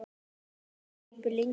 Nú þagði pabbi lengi.